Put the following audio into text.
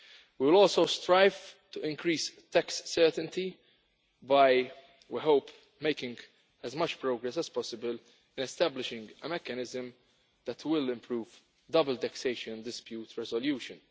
We will also strive to increase tax certainty by, we hope, making as much progress as possible in establishing a mechanism that will improve double taxation dispute resolution.